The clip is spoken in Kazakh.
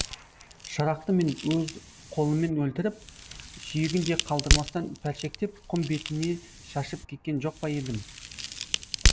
шырақты мен өз қолыммен өлтіріп сүйегін де қалдырмастан пәршектеп құм бетіне шашып кеткен жоқ па едім